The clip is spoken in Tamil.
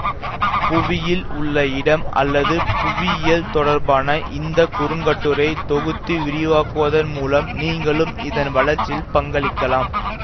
புவியில் உள்ள இடம் அல்லது புவியியல் தொடர்பான இந்த குறுங்கட்டுரையை தொகுத்து விரிவாக்குவதன் மூலம் நீங்களும் இதன் வளர்ச்சியில் பங்களிக்கலாம்